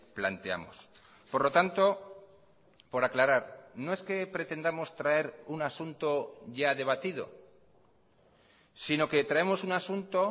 planteamos por lo tanto por aclarar no es que pretendamos traer un asunto ya debatido sino que traemos un asunto